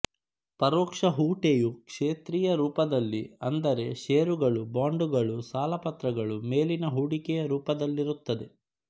ಪರೋಕ್ಷ ಹೂಟೆಯು ಕ್ಷೇತ್ರೀಯ ರೂಪದಲ್ಲಿ ಅಂದರೆ ಷೇರುಗಳುಬಾಂಡುಗಳುಸಾಲಪತ್ರಗಳು ಮೇಲಿನ ಹೂಡಿಕೇಯ ರೂಪದಲ್ಲಿರುತ್ತದೆ